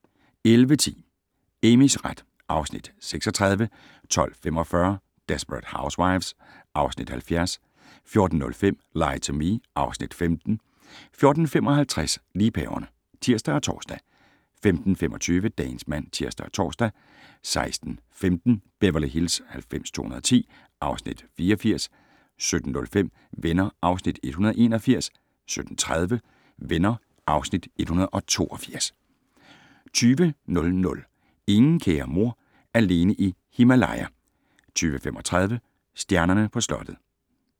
11:10: Amys ret (Afs. 36) 12:45: Desperate Housewives (Afs. 70) 14:05: Lie to Me (Afs. 15) 14:55: Liebhaverne (tir og tor) 15:25: Dagens mand (tir og tor) 16:15: Beverly Hills 90210 (Afs. 84) 17:05: Venner (Afs. 181) 17:30: Venner (Afs. 182) 20:00: Ingen kære mor - alene i Himalaya 20:35: Stjernerne på slottet